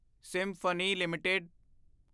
symphony LTD